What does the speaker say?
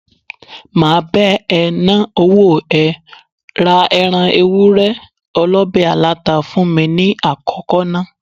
Máa bá ẹ ná owó ẹ, ra ẹran Ewúré olọ̀bẹ̀ aláta fún mi ní àkọ́kọ́ ná.